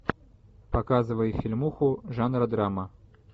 показывай фильмуху жанра драма